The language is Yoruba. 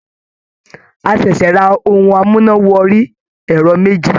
A ṣẹ̀ṣẹ̀ ra ohun amúná wọrí ẹ̀rọ méjì.